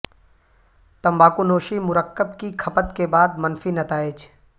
تمباکو نوشی مرکب کی کھپت کے بعد منفی نتائج